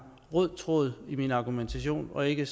rød tråd i min argumentation og ikke